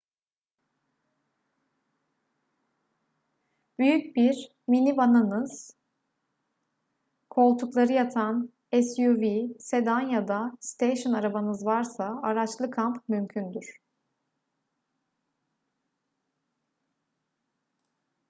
büyük bir minivanınız koltukları yatan suv sedan ya da steyşın arabanız varsa araçlı kamp mümkündür